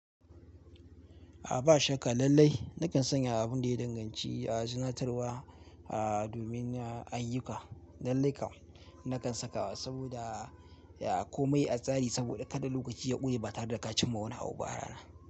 A ba shakka lallai nakan sanya abin da ya danganci a zinatarwa, a domin a ayyuka. Lallai kam nakan sakawa saboda a komai a tsari saboda kada lokaci ya ƙure ba tare da ka cimma wani abu ba rana.